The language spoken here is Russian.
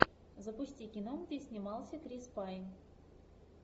запусти кино где снимался крис пайн